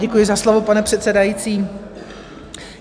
Děkuji za slovo, pane předsedající.